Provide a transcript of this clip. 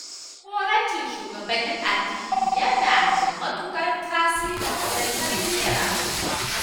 Jagorancin shugabannin addini yana da matuƙar tasiri wajen tarbiyyar al'umma